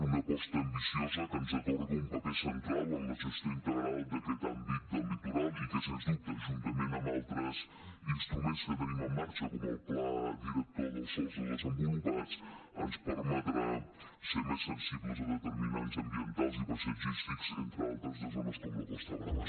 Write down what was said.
una aposta ambiciosa que ens atorga un paper central en la gestió integral d’aquest àmbit del litoral i que sens dubte juntament amb altres instruments que tenim en marxa com el pla director dels sòls no desenvolupats ens permetrà ser més sensibles a determinants ambientals i paisatgístics entre altres de zones com la costa brava